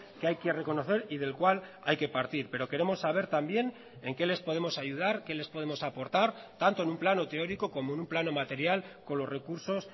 que hay que reconocer y del cual hay que partir pero queremos saber también en qué les podemos ayudar qué les podemos aportar tanto en un plano teórico como en un plano material con los recursos